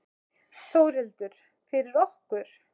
Þórhildur: Fyrir okkur?